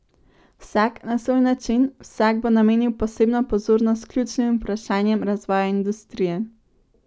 Vsak na svoj način, vsak bo namenil posebno pozornost ključnim vprašanjem razvoja industrije.